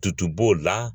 Tutu b'o la